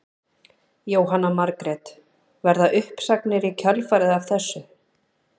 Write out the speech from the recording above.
Jóhanna Margrét: Verða uppsagnir í kjölfarið af þessu?